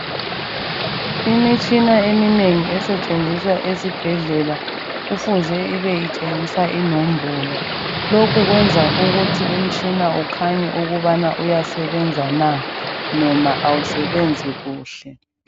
Imitshina eminengi esetshenziswa esibhedlela kufuze ibe itshengisa inombolo lokhu kwenza ukuthi umtshina ukhanye ukubana uyasebenza na noma awusebenzi kuhle.